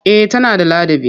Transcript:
Eh tana da ladabi.